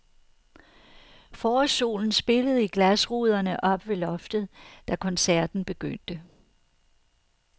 Forårssolen spillede i glasruderne oppe ved loftet da koncerten begyndte.